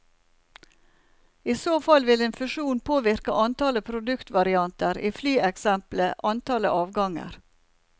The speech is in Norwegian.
I så fall vil en fusjon påvirke antallet produktvarianter, i flyeksempelet antallet avganger.